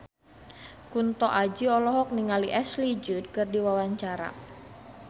Kunto Aji olohok ningali Ashley Judd keur diwawancara